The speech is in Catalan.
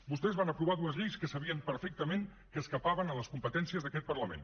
vostès van aprovar dues lleis que sabien perfectament que s’escapaven de les competències d’aquest parlament